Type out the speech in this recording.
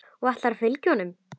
Og ætlarðu að fylgja honum?